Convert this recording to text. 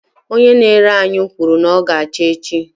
Onye na-ere anyụ kwuru na ọ ga-acha n'echi.